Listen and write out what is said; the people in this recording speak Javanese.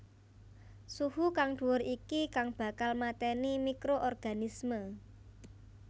Suhu kang dhuwur iki kang bakal mateni microorganisme